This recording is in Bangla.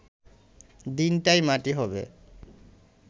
দিনটাই মাটি হবে